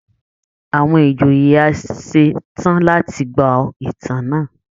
Àwọn ìjòyè a ṣe tán láti gbọ́ ìtàn náà